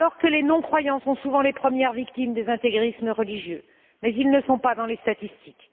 Les non croyants sont souvent les premières victimes des intégrismes religieux mais ils ne sont pas dans les statistiques.